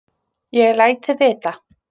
Ég læt þig vita.